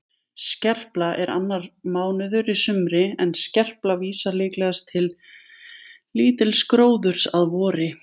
Skerpla er annar mánuður í sumri en skerpla vísar líklegast til lítils gróðurs að vori.